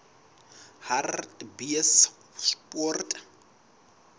hartbeespoort